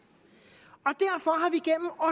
og